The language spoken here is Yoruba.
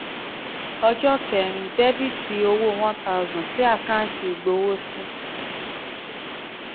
ọjọ́ ọjọ́ kẹ́rin dr owó one thousand sí àkáǹtì ìgbowósí